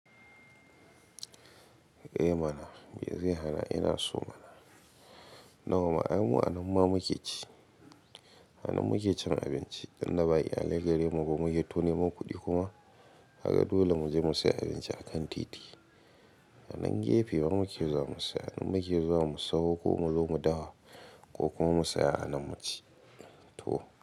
Eh mana, me zai hana ina so mana. Na wa ma, ai mu a nan ma muke ci. A nan muke cin abinci idan na ba yi alaigari mu kuma muke toni mun kuɗi kuma, haka dole mu je mu sayi abinci a kan titi. A nan gefe ma muke zuwa mu saya, nan muke zuwa mu sauko mu zo mu dafa ko kuma mu saya a nan mu ci. To.